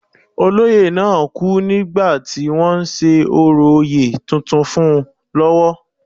Olóyè náà kú nígbà tí wọ́n ń ṣe orò oyè tuntun fún un lọ́wọ́